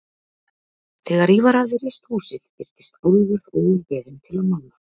Þegar Ívar hafði reist húsið birtist Álfur óbeðinn til að mála.